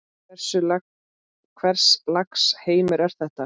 Hvers lags heimur er þetta?